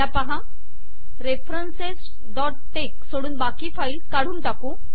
ह्या पाहा referencesटेक्स सोडून बाकी फाईल्स काढून टाकू